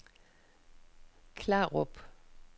Klarup